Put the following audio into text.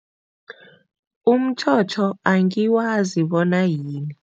Umtjhotjho angiwazi bona yini.